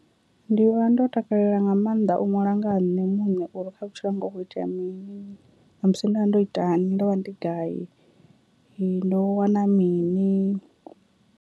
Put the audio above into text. Ndi vha ndo takalela nga maanḓa u ṅwala nga ha nṋe muṋe uri kha vhutshilo hanga hu kho itea mini, namusi ndo vha ndo itani ndo vha ndi gai, ndo wana mini.